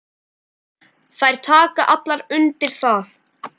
Þær taka allar undir það.